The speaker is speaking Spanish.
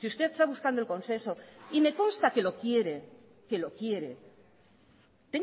si usted está buscando el consenso y me consta que lo quiere tenga